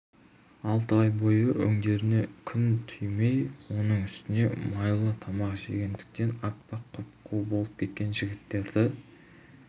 алты ай бойы өңдеріне күн тимей оның үстіне майлы тамақ жемегендіктен аппақ құп-қу болып кеткен жігіттерді